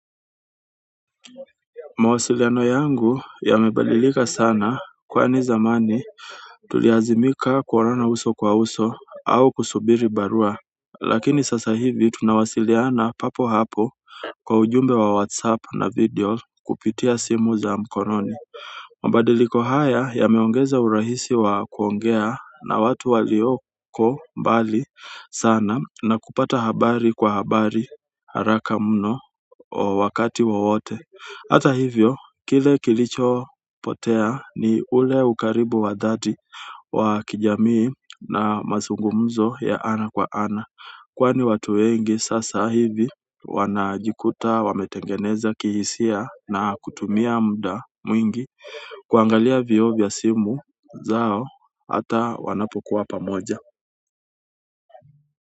Mawasiliano yangu yamebadilika sana kwani zamani tulilazimika kuonana uso kwa uso au kusubiri barua lakini sasa hivi tunawasiliana papo hapo kwa ujumbe wa whatsapp na video kupitia simu za mkononi mabadiliko haya yameongeza urahisi ya kuongea na watu walioko mbali sana na kupata habari kwa haraka mno wakati wowote, hata hivyo kile kilichopotea ni ule ukaribu wa dhati wa kijamii na mazungumzo ya ana kwa ana. Kwani watu wengi sasa hivi wanajikuta, wametengeneza kihisia na kutumia muda mwingi kuangalia vioo vya simu zao, hata wanapokuwa pamoja.